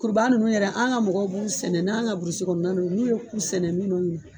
Kuruba nunnu yɛrɛ an ga mɔgɔw b'u sɛnɛ n'an ga burusu kɔnɔna no n'u ye ku sɛnɛ minnu na